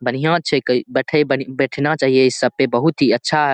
बढ़िया छै बैठ बैठना चाही इस सब पे बहुत ही अच्छा --